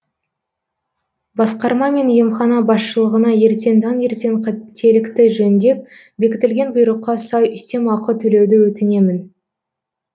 басқарма мен емхана басшылығына ертең таңертең қателікті жөндеп бекітілген бұйрыққа сай үстемеақы төлеуді өтінемін